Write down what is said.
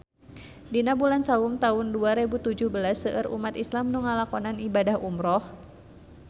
Dina bulan Saum taun dua rebu tujuh belas seueur umat islam nu ngalakonan ibadah umrah